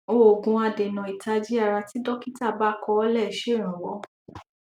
òògùn adènà ìtají ara tí dọkítà bá kọ lẹ ṣèrànwọ